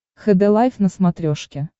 хд лайф на смотрешке